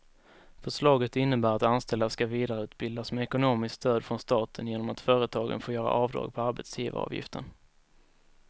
Förslaget innebär att anställda ska vidareutbildas med ekonomiskt stöd från staten genom att företagen får göra avdrag på arbetsgivaravgiften.